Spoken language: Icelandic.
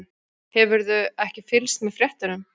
Hefurðu ekki fylgst með fréttunum?